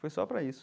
Foi só para isso.